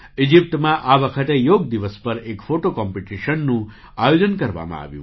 ઇજિપ્તમાં આ વખતે યોગ દિવસ પર એક ફૉટો કમ્પિટિશનનું આયોજન કરવામાં આવ્યું